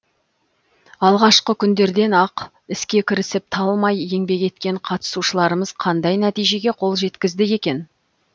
алғашқы күндерден ақ іске кірісіп талмай еңбек еткен қатысушаларымыз қандай нәтижеге қол жеткізді екен